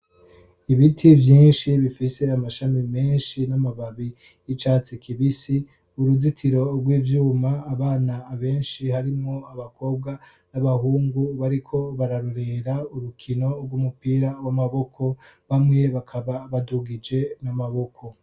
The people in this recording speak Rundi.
ibiti vyinshi bifise amashami menshi n'amababi y'icatsi kibisi uruzitiro rw'ivyuma abana benshi harimo abakobwa n'abahungu bariko bararorera urukino rw'umupira w'amaboko bamwe bakaba badugije n'amaboko.